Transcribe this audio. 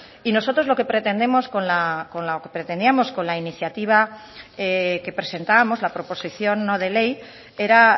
y nosotros lo que pretendíamos con la iniciativa que presentábamos la proposición no de ley era